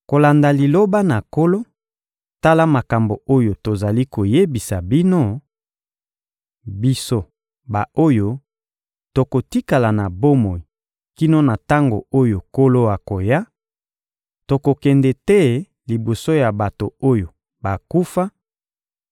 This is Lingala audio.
Kolanda liloba na Nkolo, tala makambo oyo tozali koyebisa bino: biso ba-oyo tokotikala na bomoi kino na tango oyo Nkolo akoya, tokokende te liboso ya bato oyo bakufa;